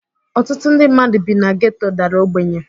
Ọtụtụ ndị mmadu bi na geto dara ogbenye.